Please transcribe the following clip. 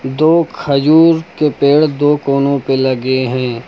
दो खजूर के पेड़ दो कोनों पर लगे हैं।